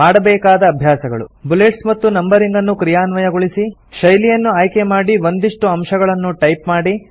ಮಾಡಬೇಕಾದ ಅಭ್ಯಾಸಗಳು160 ಬುಲೆಟ್ಸ್ ಮತ್ತು ನಂಬರಿಂಗ್ ಅನ್ನು ಕ್ರಿಯಾನ್ವಯಗೊಳಿಸಿ ಶೈಲಿಯನ್ನು ಆಯ್ಕೆಮಾಡಿ ಒಂದಿಷ್ಟು ಅಂಶಗಳನ್ನು ಟೈಪ್ ಮಾಡಿ